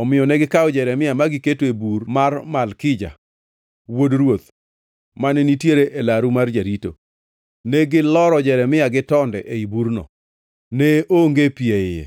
Omiyo negikawo Jeremia ma giketo e bur mar Malkija, wuod ruoth, mane nitiere e laru mar jarito. Ne giloro Jeremia gi tonde ei burno; ne onge pi e iye,